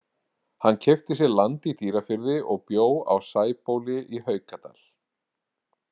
Hann keypti sér land í Dýrafirði og bjó á Sæbóli í Haukadal.